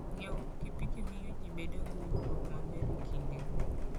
Ng'iewo pikipiki miyo ji bedo gi winjruok maber e kindgi.